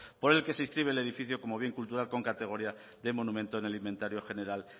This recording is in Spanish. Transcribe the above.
por el que se inscribe el edificio como bien cultural con categoría de monumento en el inventario general